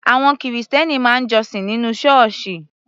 Àwọn Kìrìsìtẹ́ẹ́nì máa ń jọ́sìn nínú Ṣọ́ọ́ṣì